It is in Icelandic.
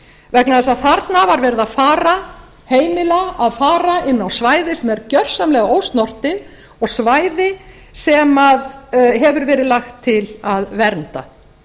vegna þess að þarna var verið að heimila að fara inn á svæði sem er gersamlega ósnortið og svæði sem hefur verið lagt til að vernda